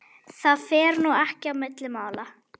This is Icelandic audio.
Það fer nú ekki á milli mála